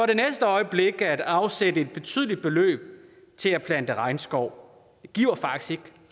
det næste øjeblik at afsætte et betydeligt beløb til at plante regnskov det giver faktisk